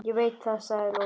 Ég veit það, sagði Lóa.